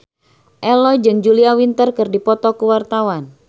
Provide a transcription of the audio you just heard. Ello jeung Julia Winter keur dipoto ku wartawan